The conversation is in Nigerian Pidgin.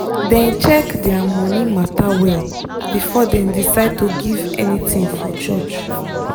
dem check their money matter well before dem decide to give anything for church.